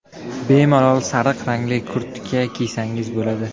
Bemalol sariq rangli kurtka kiysangiz bo‘ladi.